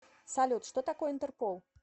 салют что такое интерпол